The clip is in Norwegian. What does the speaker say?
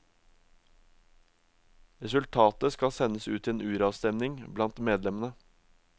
Resultatet skal sendes ut til uravstemning blant medlemmene.